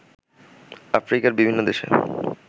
আফ্রিকার বিভিন্ন দেশে